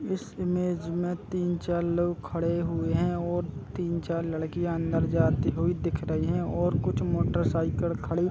इस इमेज में तीन चार लोग खड़े हुए हैं और तीन चार लड़कियाँ अंदर जाती हुई दिख रहीं हैं और कुछ मोटरसाइकिल खड़े --